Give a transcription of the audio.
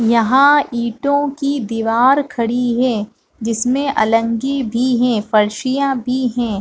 यहाँ इटों की दीवार खड़ी है जिसमें अलंगी भी है फर्सियाँ भी है।